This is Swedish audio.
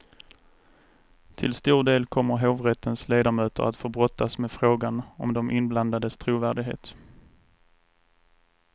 Till stor del kommer hovrättens ledamöter att få brottas med frågan om de inblandades trovärdighet.